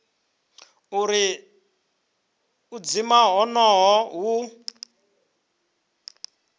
uri u dzima honoho hu